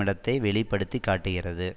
இடத்தை வெளி படுத்தி காட்டுகிறது